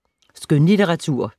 Skønlitteratur